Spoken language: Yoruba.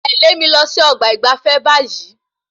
Tẹle mí lọ sí ọgbà ìgbafé báyìí